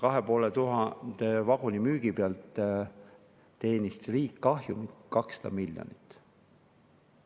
2500 vaguni müügi pealt teenis riik kahjumit 200 miljonit.